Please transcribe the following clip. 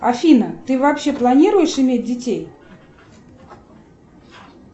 афина ты вообще планируешь иметь детей